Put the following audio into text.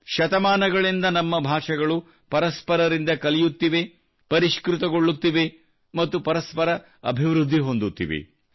ಶತಮಾನಗಳಿಂದ ನಮ್ಮ ಭಾಷೆಗಳು ಪರಸ್ಪರರಿಂದ ಕಲಿಯುತ್ತಿವೆ ಪರಿಷ್ಕೃತಗೊಳ್ಳುತ್ತಿವೆ ಮತ್ತು ಪರಸ್ಪರ ಅಭಿವೃದ್ಧಿ ಹೊಂದುತ್ತಿವೆ